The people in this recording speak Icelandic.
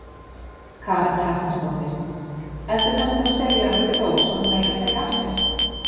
Karen Kjartansdóttir: Ertu semsagt að segja undir rós að hún eigi að segja af sér?